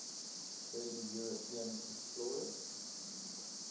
early european explorers